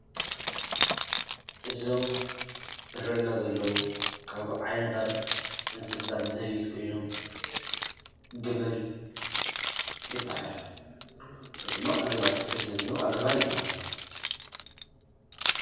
እዞም ዝረአዩና ዘለው ካብ ዓይነታት እንስሳ ዘቤት ኾይኖም ግመል ይብሃል ወይድማ ኣግማል ክልተ ስለዘኒሀው ኣግማል ይበሃሉ።